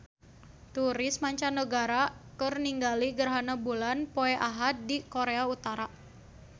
Turis mancanagara keur ningali gerhana bulan poe Ahad di Korea Utara